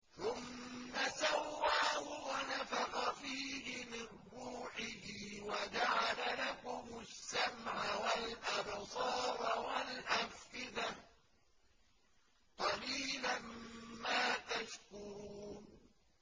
ثُمَّ سَوَّاهُ وَنَفَخَ فِيهِ مِن رُّوحِهِ ۖ وَجَعَلَ لَكُمُ السَّمْعَ وَالْأَبْصَارَ وَالْأَفْئِدَةَ ۚ قَلِيلًا مَّا تَشْكُرُونَ